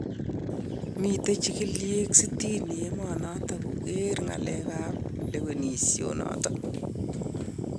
Miten chigiliiek sitin emonoton kogeer ng'aleek ab lewenisionoton.